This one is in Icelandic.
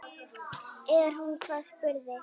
Er hún hvað, spurði